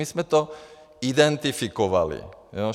My jsme to identifikovali.